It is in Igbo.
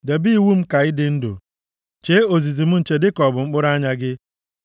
Debe iwu m ka ị dị ndụ, + 7:2 \+xt Lev 18:5; Aịz 55:3\+xt* chee ozizi m nche dịka ọ bụ mkpụrụ anya gị.